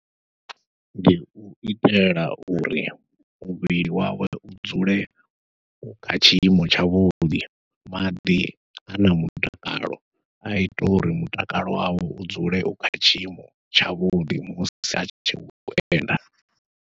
Ndi u itela uri muvhili wawe u dzule u kha tshiimo tshavhuḓi, maḓi ana mutakalo aita uri mutakalo wawe u dzule u kha tshiimo tshavhuḓi musi atshi khou enda.